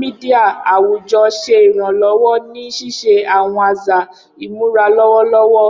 media awujọ ṣe iranlọwọ ni ṣiṣe awọn aza imura lọwọlọwọ.